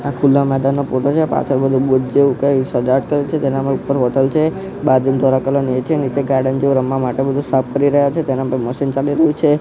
આ ખુલા મેદાનનો ફોટો છે પાછડ બધુ બુધ જેવુ કઈ સજાવટ કરેલી છે તેનામાં ઉપર હોટેલ છે બાજુમાં ધોળા કલર નુ એ છે નીચે ગાર્ડન જેવો રમવા માટે બધુ સાફ કરી રહ્યા છે તેના પર મશીન ચાલી રહ્યુ છે.